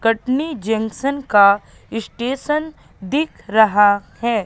Katni junction का station दिख रहा है।